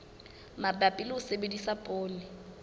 mabapi le ho sebedisa poone